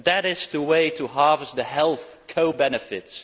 that is the way to harvest the health co benefits